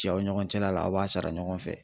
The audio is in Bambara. Cɛw ni ɲɔgɔncɛla la aw b'a sara ɲɔgɔn fɛ.